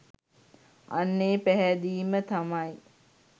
අන්න ඒ පැහැදීම තමයි